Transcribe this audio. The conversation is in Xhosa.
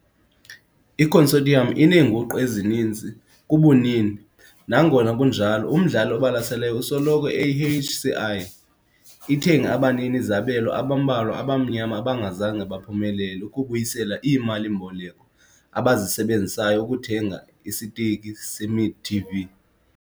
I-Consortium ineenguqu ezininzi kubunini, nangona kunjalo umdlali obalaseleyo usoloko eyi-HCI- ithenge abanini-zabelo abambalwa abamnyama abangazange baphumelele ukubuyisela iimali-mboleko abazisebenzisayo ukuthenga isiteki se-Midi TV.